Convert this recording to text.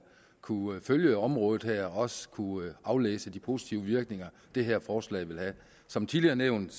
kunne følge området her og også kunne aflæse de positive virkninger det her forslag vil have som tidligere nævnt